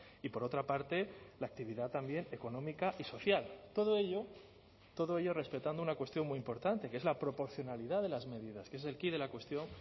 y por otra parte la actividad también económica y social todo ello todo ello respetando una cuestión muy importante que es la proporcionalidad de las medidas que es el quid de la cuestión